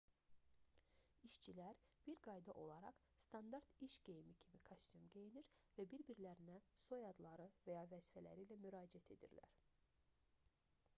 i̇şçilər bir qayda olaraq standart iş geyimi kimi kostyum geyinir və bir-birlərinə soyadları və ya vəzifələri ilə müraciət edirlər